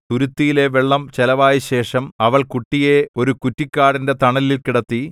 തുരുത്തിയിലെ വെള്ളം ചെലവായശേഷം അവൾ കുട്ടിയെ ഒരു കുറ്റിക്കാടിന്റെ തണലിൽ കിടത്തി